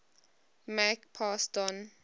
make pass don